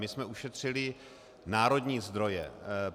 My jsme ušetřili národní zdroje.